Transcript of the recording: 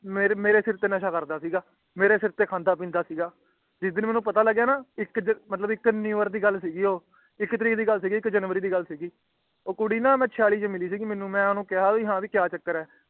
ਮੇਰੇ ਸਿਰ ਤੇ ਨਸ਼ਾ ਕਰਦਾ ਸੀਗਾ ਮੇਰੇ ਸਰ ਤੇ ਖਾਂਦਾ ਪਿੰਡ ਸੀਗਾ ਜਿਸ ਦਿਨ ਮੇਹਣੁ ਪਤਾ ਲੱਗਿਆ ਨਾ ਕਿ ਅਮ ਕਿ ਮਤਲਬ ਦੀ ਗੱਲ ਸੀਗੀ ਊ ਇਕ ਤਾਰੀਕ ਦਿਲ ਗੱਲ ਸੀਗੀ ਉਹ ਉਹ ਕੁੜੀ ਨਾ ਮਿੱਚਯਾਲੀ ਛੇ ਮਿਲੀ ਸੀਗੀ ਮੇਨੂ ਤੇ ਮਈ ਉਹਨੂੰ ਕੀਆ ਭੀ ਹੈ ਭੀ ਕਯਾ ਚੱਕਰ ਹੈ